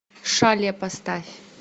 шале поставь